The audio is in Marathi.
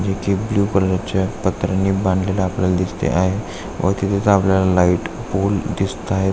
इथे ब्लु कलर चे पत्र्यानी बांधलेल आपल्याला दिसते आहे व तिथेच आपल्याला लाइट पोल दिसताए.